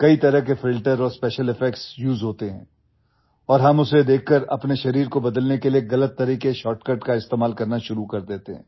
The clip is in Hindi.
कई तरह के फिल्टर और स्पेशियल इफेक्ट्स उसे होते हैं और हम उसे देखकर अपने शरीर को बदलने के लिए गलत तरीके शॉर्टकट का इस्तेमाल करना शुरू कर देते हैं